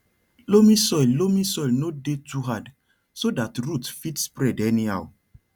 loamy soil loamy soil no dey too hard so that root fit spread anyhow